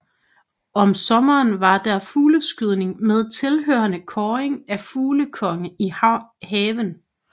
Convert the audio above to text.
Om sommeren var der fugleskydning med tilhørende kåring af fuglekonge i haven